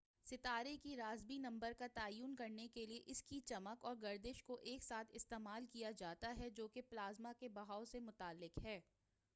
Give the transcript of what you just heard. ستارے کے Rossby number کا تعین کرنے کے لئے اس کی چمک اور گردش کو ایک ساتھ استعمال کیا جاتا ہے جو کہ پلازما کے بہاؤ سے متعلق ہے